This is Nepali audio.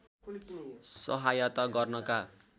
सहायता गर्नका